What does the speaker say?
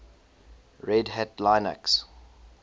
red hat linux